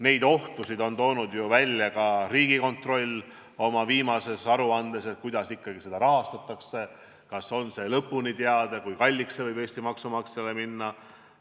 Neid ohte on maininud ka Riigikontroll oma viimases aruandes: kuidas seda ikkagi rahastatakse ja kas on lõpuni teada, kui kalliks see võib Eesti maksumaksjale minna?